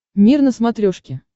мир на смотрешке